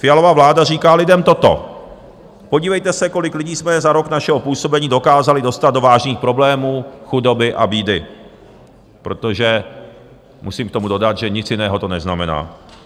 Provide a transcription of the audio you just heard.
Fialova vláda říká lidem toto: Podívejte se, kolik lidí jsme za rok našeho působení dokázali dostat do vážných problémů, chudoby a bídy, protože musím k tomu dodat, že nic jiného to neznamená.